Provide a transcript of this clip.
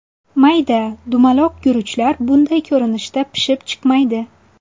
Mayda, dumaloq guruchlar bunday ko‘rinishda pishib chiqmaydi.